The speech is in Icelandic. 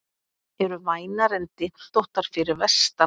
Eru vænar en dyntóttar fyrir vestan